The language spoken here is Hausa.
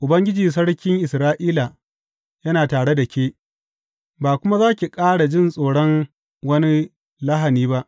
Ubangiji, Sarkin Isra’ila, yana tare da ke; ba kuma za ki ƙara jin tsoron wani lahani ba.